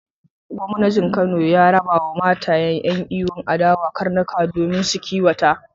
Gwamnaji Kano ya rabawa matayen yan'iyyun adawa karnuka domin su kiwata.